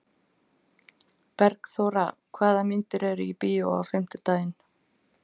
Bergþóra, hvaða myndir eru í bíó á fimmtudaginn?